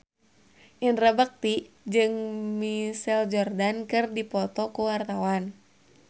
Indra Bekti jeung Michael Jordan keur dipoto ku wartawan